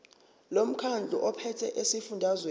lomkhandlu ophethe esifundazweni